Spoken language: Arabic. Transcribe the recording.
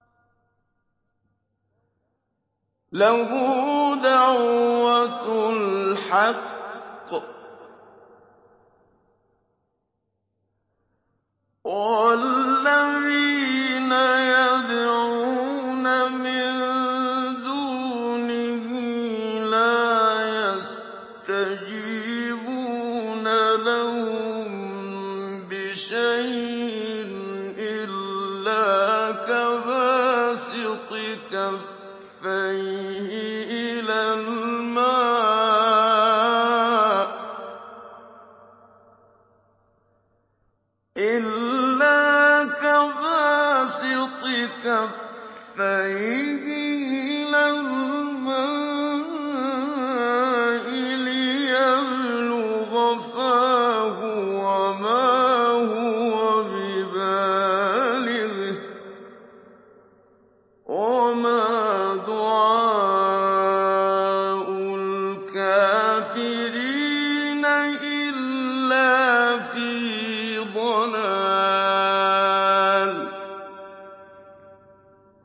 لَهُ دَعْوَةُ الْحَقِّ ۖ وَالَّذِينَ يَدْعُونَ مِن دُونِهِ لَا يَسْتَجِيبُونَ لَهُم بِشَيْءٍ إِلَّا كَبَاسِطِ كَفَّيْهِ إِلَى الْمَاءِ لِيَبْلُغَ فَاهُ وَمَا هُوَ بِبَالِغِهِ ۚ وَمَا دُعَاءُ الْكَافِرِينَ إِلَّا فِي ضَلَالٍ